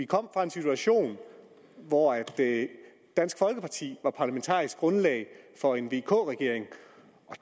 kommer fra en situation hvor dansk folkeparti var parlamentarisk grundlag for en vk regering og